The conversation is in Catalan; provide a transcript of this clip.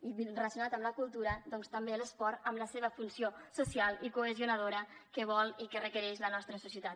i relacionat amb la cultura doncs també l’esport amb la seva funció social i cohesionadora que vol i que requereix la nostra societat